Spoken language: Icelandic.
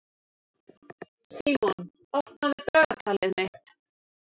Símon, opnaðu dagatalið mitt.